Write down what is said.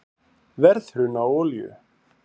Verðhrun á olíu